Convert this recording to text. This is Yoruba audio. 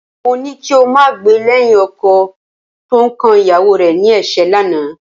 Mo ní kí o máa gbè lẹ́yìn ọkọ tó ń kan ìyàwó rẹ ní ẹ̀ṣẹ́ lánàá